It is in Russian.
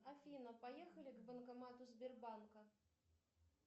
афина поехали к банкомату сбербанка